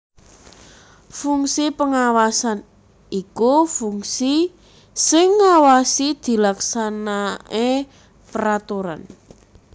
Fungsi Pengawasan iku fungsi sing ngawasi dilaksanaè peraturan